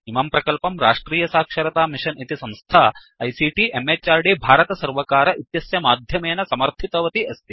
इमं प्रकल्पं राष्ट्रियसाक्षरतामिषन् इति संस्था आईसीटी म्हृद् भारतसर्वकार इत्यस्य माध्यमेन समर्थितवती अस्ति